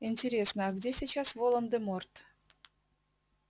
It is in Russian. интересно а где сейчас волан-де-морт